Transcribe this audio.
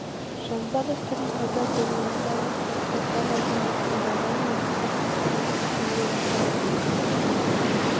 жазба дәстүрдің пайда болуына байланысты кітаптар мәдениеттің дамуы мен сабақтастығында үлкен рөл атқара бастады